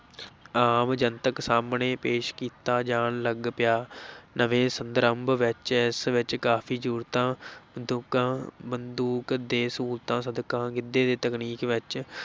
ਆਮ ਜਨਤਕ ਸਾਹਮਣੇ ਪੇਸ਼ ਕੀਤਾ ਜਾਣ ਲੱਗ ਪਿਆ ਨਵੇਂ ਸੰਦਰਭ ਵਿੱਚ ਇਸ ਵਿੱਚ ਕਾਫੀ ਜਰੂਰਤਾਂ ਬੰਦੂਕਾਂ ਬੰਦੂਕ ਤੇ ਸਹੂਲਤਾਂ ਸਦਕਾ ਗਿੱਧੇ ਦੀ ਤਕਨੀਕ ਵਿੱਚ